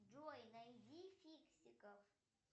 джой найди фиксиков